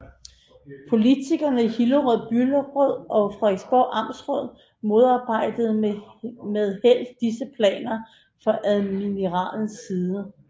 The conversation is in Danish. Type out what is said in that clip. Politikerne i Hillerød Byråd og Frederiksborg Amtsråd modarbejdede med held disse planer fra admiralens side